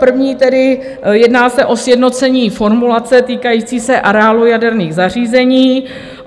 První tedy - jedná se o sjednocení formulace týkající se areálu jaderných zařízení.